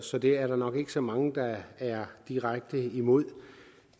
så det er der nok ikke så mange der er direkte imod